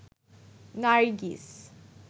Nargis